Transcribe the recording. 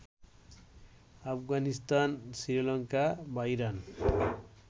আফগানিস্তান, শ্রীলঙ্কা বা ইরান